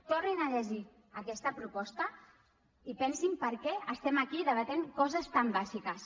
tornin a llegir aquesta proposta i pensin per què estem aquí debatent coses tan bàsiques